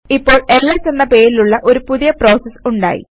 ഇപ്പോൾ എൽഎസ് എന്ന പേരിലുള്ള ഒരു പുതിയ പ്രോസസ് ഉണ്ടായി